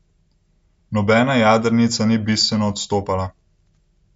Nobena jadrnica ni bistveno odstopala.